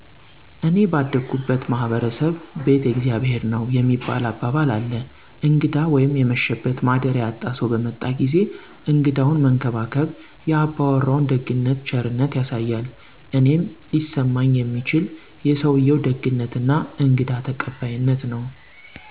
እኔ ባደኩበት ማህበረሰብ "ቤት የእግዚአብሔር ነዉ" የሚባል አባባል አለ እንግዳ ወይም የመሸበት ማደሪያ ያጣ ሰዉ በመጣ ጊዜ እንግዳዉን መንከባከብ የ አባወራዉን ደግነት ቸርነት ያሳያል እኔም ሊሰማኝ የሚችል የሰዉየዉ ደግነት እና እንግዳ ተቀባይነት ነዉ።